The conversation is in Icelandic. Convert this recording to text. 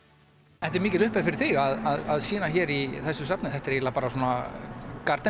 þetta er mikil upphefð fyrir þig að sýna hér í þessu safni þetta er eiginlega bara svona Garden